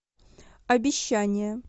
обещание